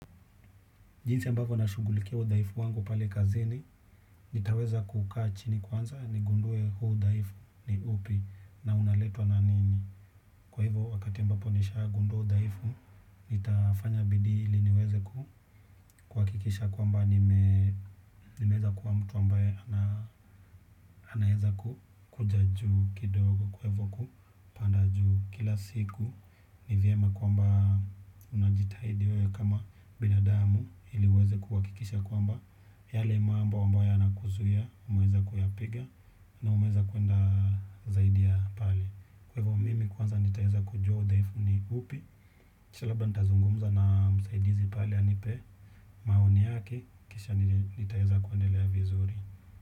Jinsi ambavyo nashughulikia udhaifu wangu pale kazini, nitaweza kukaa chini kwanza nigundue huu udhaifu ni upi na unaletwa na nini. Kwa hivyo wakati ambapo nishagundua udhaifu, nitafanya bidii ili niweze ku kuhakikisha kwamba nime nimeweza kuwa mtu ambaye anaeza kukuja juu kidogo kwa hivyo kupanda juu kila siku. Ni vyema kwamba unajitahidi wewe kama binadamu ili uweze kuhakikisha kwamba yale mambo ambayo yanakuzuia umeweza kuyapiga na umeweza kuenda zaidi ya pale. Kwaivo mimi kwanza nitaeza kujua udhaifu ni upi. Kisha labda nitazungumza na msaidizi pale anipe maoni yake kisha nitaeza kuendelea vizuri.